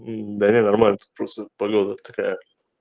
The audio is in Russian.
да нет нормально тут просто погода такая